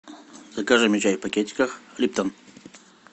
закажи мне чай в пакетиках липтон